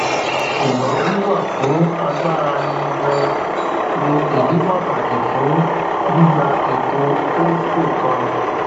ṣugbọn wiwa fun agbara ni gaan ni idi pataki fun gbigba eto holdco kan